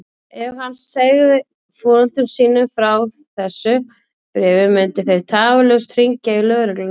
Ef hann segði foreldrum sínum frá þessu bréfi myndu þeir tafarlaust hringja í lögregluna.